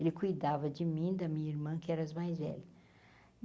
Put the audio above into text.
Ele cuidava de mim, e da minha irmã, que era as mais velhas.